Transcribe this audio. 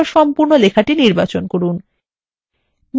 এবার সম্পূর্ণ লেখাটি নির্বাচন করুন